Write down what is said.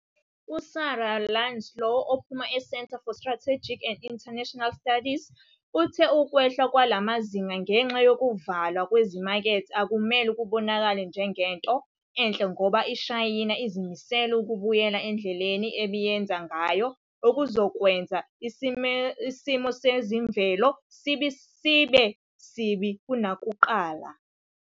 USarah Ladislaw ophuma e-Center for Strategic and International Studies uthe ukwehla kwalamazinga ngenxa yokuvalwa kwezimakethe akumele kubonakale njengento enhle ngoba iShayina izimisele ukubuyela endleleni ebiyenza ngayo okuzokwenza isimosezemvelo sibe sibi kunakuqala.